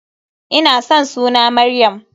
Ina san suna Maryam.